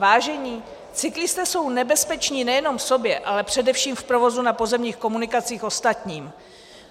Vážení, cyklisté jsou nebezpeční nejenom sobě, ale především v provozu na pozemních komunikacích ostatním.